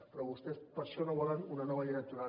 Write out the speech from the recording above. però vostès per això no volen una llei electoral